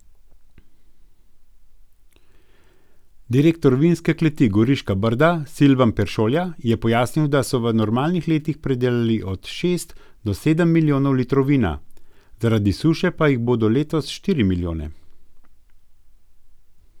Direktor Vinske kleti Goriška brda Silvan Peršolja je pojasnil, da so v normalnih letih pridelali od šest do sedem milijonov litrov vina, zaradi suše pa jih bodo letos štiri milijone.